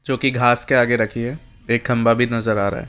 जो की घास के आगे रखी है एक खंभा भी नजर आ रहा है।